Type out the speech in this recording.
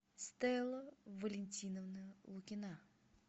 стелла валентиновна лукина